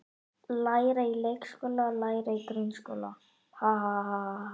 Læra í leikskóla Læra í grunnskóla